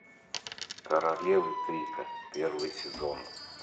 королевы крика первый сезон